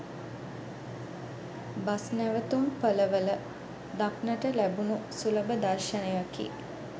bus නැවතුම්පළවල දක්නට ලැබුණු සුලබ දර්ශනයකි